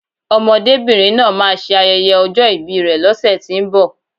Ọmọdébìnrin náà máa ṣe ayẹyẹ ọjọ́ ìbi rè lọ́sẹ̀tínbọ̀